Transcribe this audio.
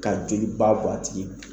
Ka joli ba bɔ a tigi